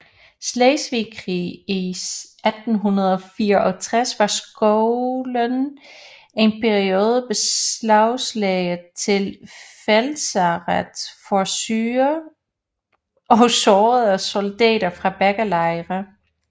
Slesvigske Krig i 1864 var skolen en periode beslaglagt til feltlazaret for syge og sårede soldater fra begge lejre